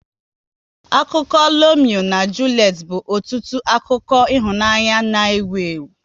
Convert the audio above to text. Akụkọ Lomeo na Julet bụ ọtụtụ akụkọ ịhụnanya n' ewu ewu